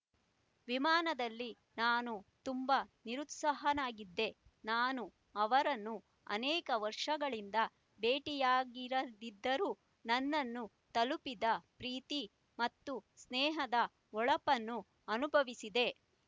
ವಿಮಾನದಲ್ಲಿ ನಾನು ತುಂಬಾ ನಿರುತ್ಸಾಹನಾಗಿದ್ದೆ ನಾನು ಅವರನ್ನು ಅನೇಕ ವರ್ಷಗಳಿಂದ ಭೆಟ್ಟಿಯಾಗಿರದಿದ್ದರೂ ನನ್ನನ್ನು ತಲುಪಿದ ಪ್ರೀತಿ ಮತ್ತು ಸ್ನೇಹದ ಹೊಳಪನ್ನು ಅನುಭವಿಸಿದೆ